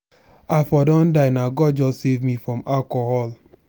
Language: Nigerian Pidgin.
i for don die na god just save me from alcohol.